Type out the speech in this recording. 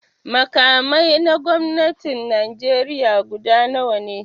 Makamai na gwamnatin Najeriya guda nawa ne?